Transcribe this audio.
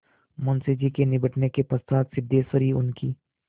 मुंशी जी के निबटने के पश्चात सिद्धेश्वरी उनकी